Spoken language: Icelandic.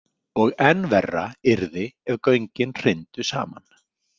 Og enn verra yrði ef göngin hryndu saman.